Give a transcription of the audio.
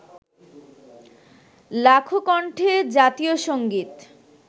লাখো কন্ঠে জাতীয় সংগীত